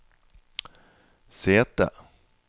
sete